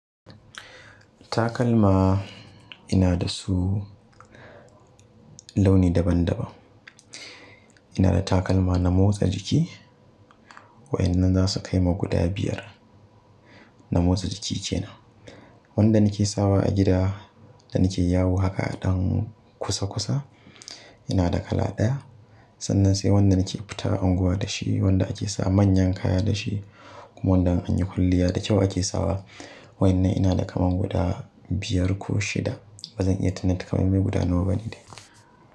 Takalma ina da su launi daban-daban. Ina da takalma na motsa jiki waɗannan za su kai ma guda biyar na motsa jiki ce. Wadda nake sawa a gida da nake yawo haka ɗan kusa-kusa ina da kala ɗaya. Sannan sai wanda nake fita unguwa da shi, wanda ake sa manyan kaya da shi kuma wanda in anyi kulliya da kyau ake sawa. Waɗannan ina da kaman guda biyar ko shida. Ba zan iya taƙamaiman guda nawa bane dai.